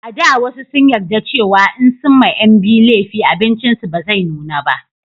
a da wasu sun yarda cewa in sun ma 'yan biyu lefi abincin su ba zai nuna ba